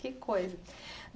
Que coisa.